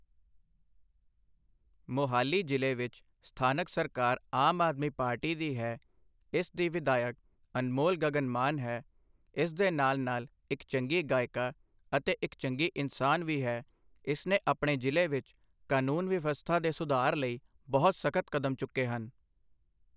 ਮੋਹਾਲੀ ਜ਼ਿਲ੍ਹੇ ਵਿੱਚ ਸਥਾਨਕ ਸਰਕਾਰ ਆਮ ਆਦਮੀ ਪਾਰਟੀ ਦੀ ਹੈ ਇਸ ਦੀ ਵਿਧਾਇਕ ਅਨਮੋਲ ਗਗਨ ਮਾਨ ਹੈ ਇਸ ਦੇ ਨਾਲ਼ ਨਾਲ਼ ਇੱਕ ਚੰਗੀ ਗਾਇਕਾ ਅਤੇ ਇੱਕ ਚੰਗੀ ਇਨਸਾਨ ਵੀ ਹੈ ਇਸਨੇ ਆਪਣੇ ਜ਼ਿਲ੍ਹੇ ਵਿੱਚ ਕਾਨੂੰਨ ਵਿਵਸਥਾ ਦੇ ਸੁਧਾਰ ਲਈ ਬਹੁਤ ਸਖ਼ਤ ਕਦਮ ਚੁੱਕੇ ਹਨ